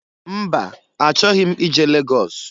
Mba! Achọghị m ije Lagọs.